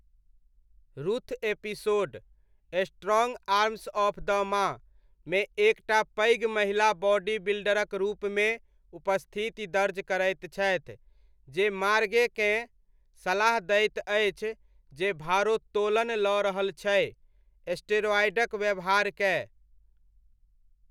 Ruth episode 'strong arms of the ma' मे एक टा पैघ महिला बॉडी बिल्डरक रूपमे उपस्थिति दर्ज करैत छथि, जे मार्गेकेँ सलाह दैत अछि, जे भारोत्तोलन लऽ रहल छै, स्टेरॉयडक व्यवहार कए।